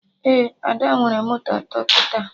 Ee, Ada nwere moto atọ kịta